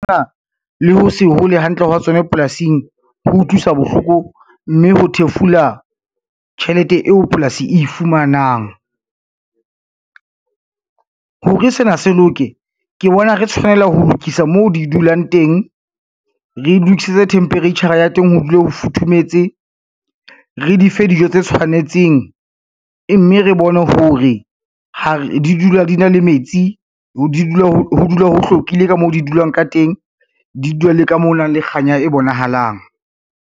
Le ho se hole hantle hwa tsona polasing ho utlwisa bohloko, mme ho thefula tjhelete eo polasi e fumanang. Hore sena se loke ke bona re tshwanela ho lokisa mo di dulang teng, re lokisetse temperature-ra ya teng ho dula ho futhumetse, re di fe dijo tse tshwanetseng, mme re bone hore di dula di na le metsi, ho dule ho hlwekile ka mo di dulang ka teng, di dula le ka moo ho nang le kganya e bonahalang.